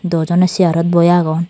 duo joney chearot boi agon.